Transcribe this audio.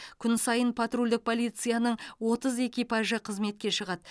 күн сайын патрульдік полицияның отыз экипажы қызметке шығады